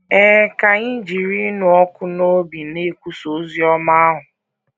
Ee, ka anyị jiri ịnụ ọkụ n’obi na - ekwusa ozi ọma ahụ!